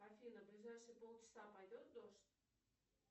афина в ближайшие полчаса пойдет дождь